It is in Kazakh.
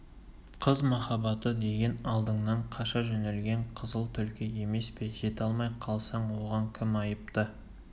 қыз махаббаты деген алдыңнан қаша жөнелген қызыл түлкі емес пе жете алмай қалсаң оған кім айыпты